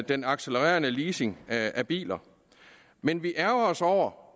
den accelererende leasing af biler men vi ærgrer os over